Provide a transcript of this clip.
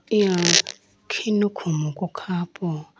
eya khinu khumku kha po.